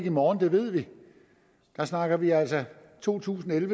i morgen det ved vi der snakker vi altså to tusind og en